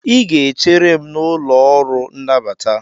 ị ga-echere m n'ụlọ ọrụ nnabata